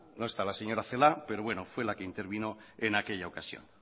no está la señora celaá pero bueno fue la que intervino en aquella ocasión